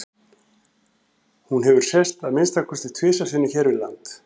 hún hefur sést að minnsta kosti tvisvar sinnum hér við land